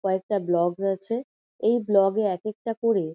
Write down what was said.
কয়েকটা ব্লগ রয়েছে। এই ব্লগ -এ এক একটা করে--